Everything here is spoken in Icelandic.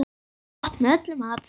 Gott með öllum mat.